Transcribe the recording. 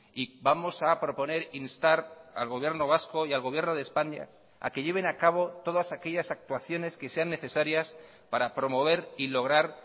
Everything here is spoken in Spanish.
y vamos a proponer instar al gobierno vasco y al gobierno de españa a que lleven a cabo todas aquellas actuaciones que sean necesarias para promover y lograr